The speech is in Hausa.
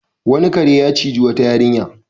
Wani kare ya ciji wata yarinya.